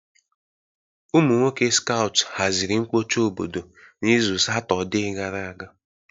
Ụmụ nwoke skout haziri mkpocha obodo n'izu Satọde gara aga.